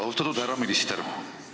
Austatud härra minister!